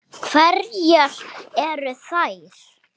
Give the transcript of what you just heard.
Hverjar eru þær?